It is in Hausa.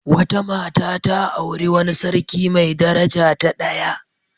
Wata mata ta auri wani sarki mai daraja ta daya.